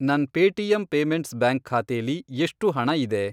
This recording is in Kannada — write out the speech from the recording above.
ನನ್ ಪೇಟಿಎಮ್ ಪೇಮೆಂಟ್ಸ್ ಬ್ಯಾಂಕ್ ಖಾತೆಲಿ ಎಷ್ಟು ಹಣ ಇದೆ?